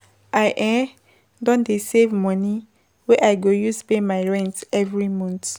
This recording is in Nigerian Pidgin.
I um don dey save moni wey I go use pay my rent every month.